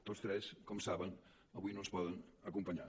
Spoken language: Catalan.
tots tres com saben avui no ens poden acompanyar